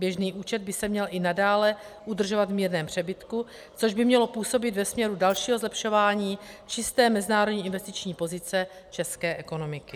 Běžný účet by se měl i nadále udržovat v mírném přebytku, což by mělo působit ve směru dalšího zlepšování čisté mezinárodní investiční pozice české ekonomiky.